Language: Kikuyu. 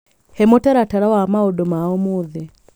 he mũtaratara wa maũndũ ma ũmũthĩ